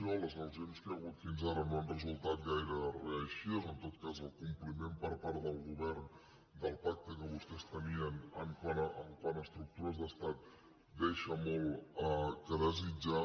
les negociacions que hi ha hagut fins ara no han resultat gaire reeixides o en tot cas el compliment per part del govern del pacte que vostès tenien quant a estructures d’estat deixa molt a desitjar